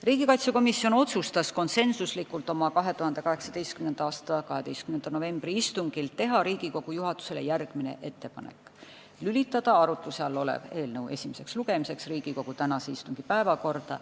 Riigikaitsekomisjon otsustas konsensuslikult oma 2018. aasta 12. novembri istungil teha Riigikogu juhatusele järgmise ettepaneku: lülitada arutluse all olev eelnõu esimeseks lugemiseks Riigikogu tänase istungi päevakorda.